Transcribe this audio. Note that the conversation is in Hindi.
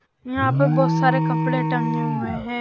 यहां पर बहुत सारे कपड़े टंगे हुए हैं।